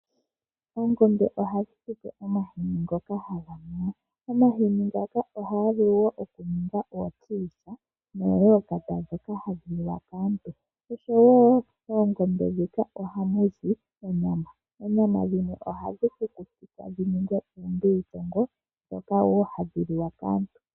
Oongombe ohadhi tu pe omahini ngoka haga nuwa kaantu. Omahini ngaka ohavulu wo okuningwa omagadhi. Moongombe muka ohamuzi onyama, oonyama dhimwe ohadhi kukutikwa dhi ningwe oombilitongo ndhoka wo hadhi liwa kaantu.